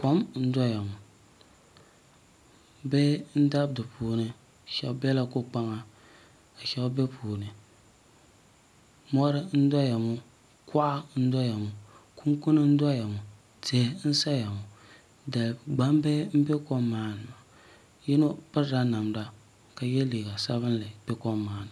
Kom n-doya ŋɔ bihi n-dabi di puuni shɛba bela ko'kpaŋa ka shɛba be puuni mɔri n-doya ŋɔ kɔɣa n-doya ŋɔ kunkuni n-doya ŋɔ tihi n-saya ŋɔ gbambihi m-be kom maa ni maa yino pirila namda ka ye liiga sabinli be kom maa ni.